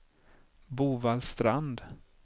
Bovallstrand